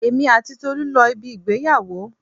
Èmi àti Tolu lọ ibi ìgbéyàwó.